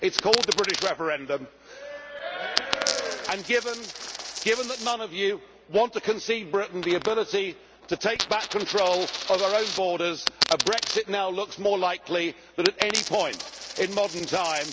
It is called the British referendum and, given that none of you want to concede Britain the ability to take back control of our own borders, a Brexit now looks more likely than at any point in modern time.